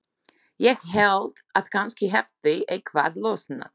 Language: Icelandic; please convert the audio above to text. Ég hélt að kannski hefði eitthvað losnað.